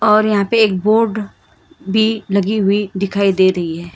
और यहां पे एक बोर्ड भी लगी हुई दिखाई दे रही है।